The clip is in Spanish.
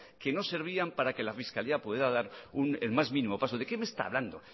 que no servían para que la fiscalía pudiera dar el más mínimo paso de qué me está hablando